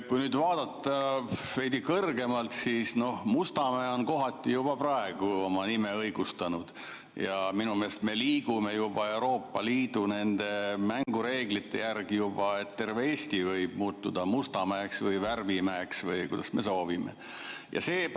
Kui nüüd vaadata veidi kõrgemalt, siis Mustamäe on kohati juba praegu oma nime õigustanud ja minu meelest me liigume juba Euroopa Liidu mängureeglite järgi ja terve Eesti võib muutuda Mustamäeks või värvimäeks või kuidas me soovime.